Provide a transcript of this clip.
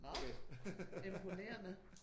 Nåh okay imponerende